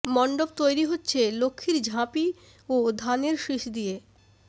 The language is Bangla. মণ্ডপ তৈরি হচ্ছে লক্ষ্মীর ঝাপি ও ধানের শীষ দিয়ে